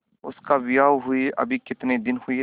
उसका विवाह हुए अभी कितने दिन हुए थे